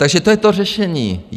Takže to je to řešení.